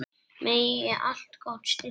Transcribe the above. Megi allt gott styrkja ykkur.